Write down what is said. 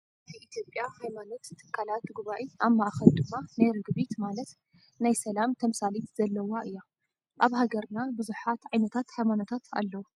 ናይ ኢትዮጰያ ሃይማኖት ትካላት ጉባኤ ኣብ ማእከል ድማ ናይ ርግቢት ማለት ናይ ሰላም ተምሳሌት ዘለዋ እያ። ኣብ ሃገርና ብዙሓት ዓይነታት ሃይማኖታት ኣለው።